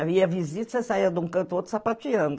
Eu ia visita, saía de um canto ou outro sapateando.